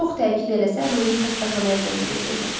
Çox təkid eləsə ruhi xəstəxanaya göndərəcəklər.